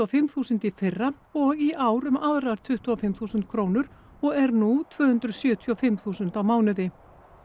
og fimm þúsund í fyrra og í ár um aðrar tuttugu og fimm þúsund krónur og er nú tvö hundruð sjötíu og fimm þúsund á mánuði